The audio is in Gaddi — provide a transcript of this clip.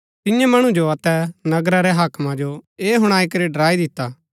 तिन्ये मणु जो अतै नगरा रै हाकमा जो ऐह हुणाई करी डराई दिता